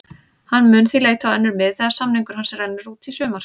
Hann mun því leita á önnur mið þegar samningur hans rennur út í sumar.